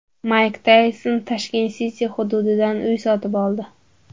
Mayk Tayson Tashkent City hududidan uy sotib oldi.